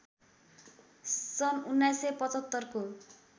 सन् १९७५ को